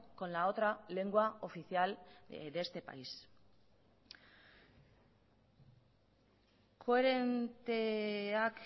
con la otra lengua oficial de este país koherenteak